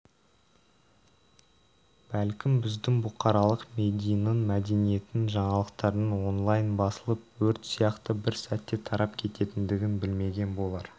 бәлкім біздің бұқаралық мединың мәдениетін жаңалықтардың онлайн басылып өрт сияқты бір сәтте тарап кететіндігін білмеген болар